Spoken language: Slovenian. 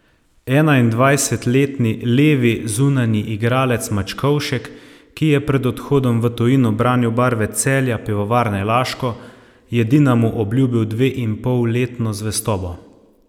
Enaindvajsetletni levi zunanji igralec Mačkovšek, ki je pred odhodom v tujino branil barve Celja Pivovarne Laško, je Dinamu obljubil dveinpolletno zvestobo.